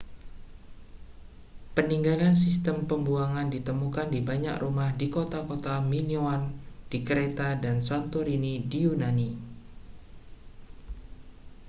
peninggalan sistem pembuangan ditemukan di banyak rumah di kota-kota minoan di kreta dan santorini di yunani